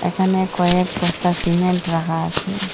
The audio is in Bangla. এখানে কয়েক বস্তা সিমেন্ট রাখা আছে।